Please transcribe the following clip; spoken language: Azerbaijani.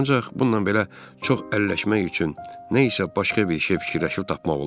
Ancaq bununla belə çox əlləşmək üçün nə isə başqa bir şey fikirləşib tapmaq olar.